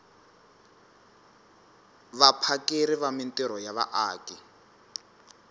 vaphakeri va mintirho ya vaaki